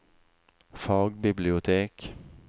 fagbibliotek